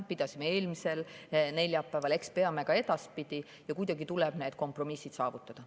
Pidasime eelmisel neljapäeval, eks peame ka edaspidi ja kuidagi tuleb need kompromissid saavutada.